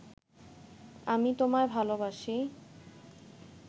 আমি তোমায় ভালবাসি